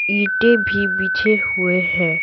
ईंटे भी बिछे हुए है।